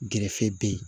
Gɛrɛfe be ye